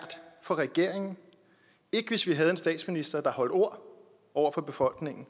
for regeringen ikke hvis vi havde en statsminister der holdt ord over for befolkningen